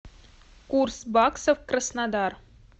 курс баксов краснодар